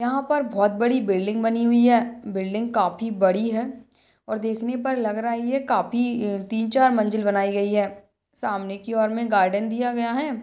यहाँ पर बोहोत बड़ी बिल्डिंग बनी हुई है। बिल्डिंग काफी बड़ी है और देखने पर लग रहा ये काफी ह तीन चार मंजिल बनाई गई है। सामने की ओर में गार्डन दिया गया है।